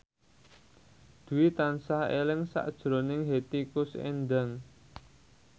Dwi tansah eling sakjroning Hetty Koes Endang